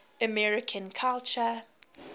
american culture